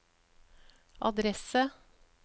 adresse